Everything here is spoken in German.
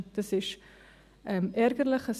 Dies ist ärgerlich.